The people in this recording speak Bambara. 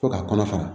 Fo ka kɔnɔ fara